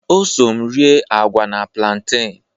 O so m rịe agwa na plantain.